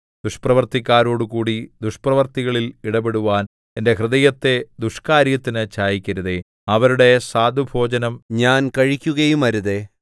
ദുഷ്പ്രവൃത്തിക്കാരോടുകൂടി ദുഷ്പ്രവൃത്തികളിൽ ഇടപെടുവാൻ എന്റെ ഹൃദയത്തെ ദുഷ്ക്കാര്യത്തിന് ചായിക്കരുതേ അവരുടെ സ്വാദുഭോജനം ഞാൻ കഴിക്കുകയുമരുതേ